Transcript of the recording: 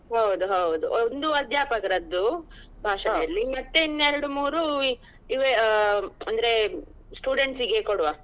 ಹೌದೌದು ಒಂದು ಅಧ್ಯಾಪಕರದ್ದು ಇರ್ಲಿ ಮತ್ತೆ ಇನ್ ಎರಡು ಮೂರು ಆಹ್ ಅಂದ್ರೆ students ಗೆ ಕೊಡುವ.